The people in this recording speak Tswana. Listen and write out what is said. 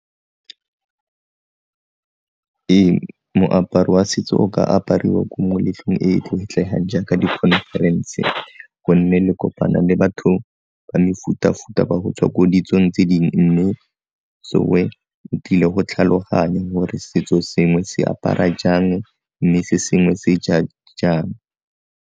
Ee, moaparo wa setso o ka apariwa ko moletlong e e tlotlegang jaaka di-conference gonne le kopana le batho ba mefuta-futa ba go tswa ko ditsong tse dingwe, mme tlile go tlhaloganya gore setso sengwe se apara jang mme se sengwe se ja jang.